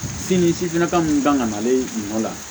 Sin ni sifinaka minnu kan ka na ale ɲɔ la